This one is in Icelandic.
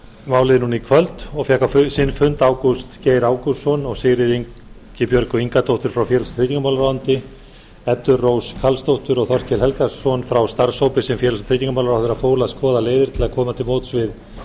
málið núna í kvöld og fékk á sinn fund ágúst geir ágústsson og sigríði ingibjörgu ingadóttur frá félags og tryggingamálaráðuneyti eddu rós karlsdóttur og þorkel helgason frá starfshópi sem félags og tryggingamálaráðherra fól að skoða leiðir til að koma til móts við